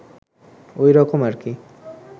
ওই রকম আরকি